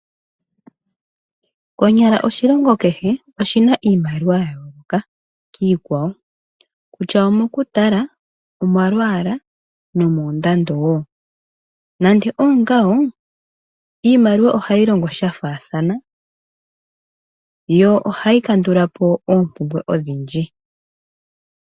Konyala oshilongo kehe oshina iimaliwa ya yooloka kiikwawo kutya omokutala ,omolwala nomoondando woo. Nande osho ngawo iimaliwa ohayi longo sha faathana yo ohayi kandulapo oompumbwe odhindji.